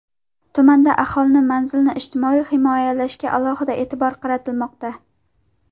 Tumanda aholini manzilli ijtimoiy himoyalashga alohida e’tibor qaratilmoqda.